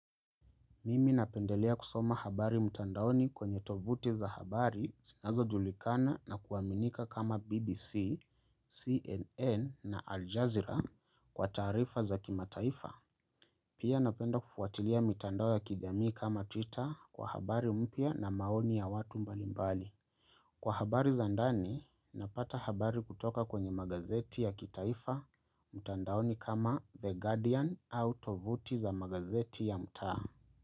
Mimi napendelea kusoma habari mtandaoni kwenye tovuti za habari sinazojulikana na kuaminika kama BBC, CNN na Aljazeera kwa taarifa za kimataifa. Pia napenda kufuatilia mitandao ya kijamii kama Twitter kwa habari mpya na maoni ya watu mbalimbali. Kwa habari za ndani, napata habari kutoka kwenye magazeti ya kitaifa mtandaoni kama The Guardian au tovuti za magazeti ya mtaa.